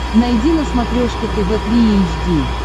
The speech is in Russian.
найди на смотрешке тв три эйч ди